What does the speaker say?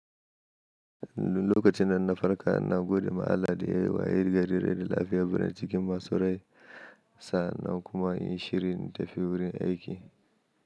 Lokacin nan na farko na gode ma Allah da ya yi wa ƴar garin rani lafiya birane cikin masu rai sa nan kuma yin shirin tafi wurin aiki.